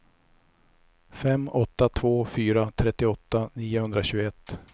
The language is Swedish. fem åtta två fyra trettioåtta niohundratjugoett